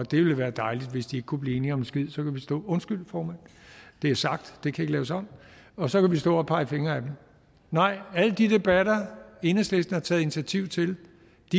at det ville være dejligt hvis de ikke kunne blive enige om en skid undskyld formand det er sagt og kan ikke laves om og så kan vi stå og pege fingre ad dem nej alle de debatter enhedslisten har taget initiativ til